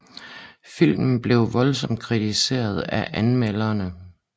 Filmen blev voldsomt kritiseret af anmelderne